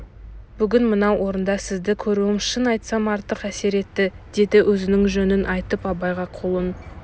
бүгін мынау орында сізді көруім шын айтсам артық әсер етті деді өзінің жөнін айтып абайға қолын